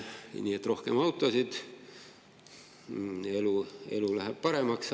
Nii et rohkem autosid, elu läheb paremaks.